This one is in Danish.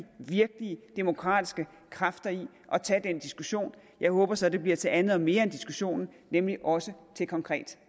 virkelige demokratiske kræfter i at tage den diskussion jeg håber så det bliver til andet og mere end diskussionen nemlig også til konkret